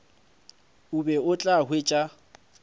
o be o tla hwetša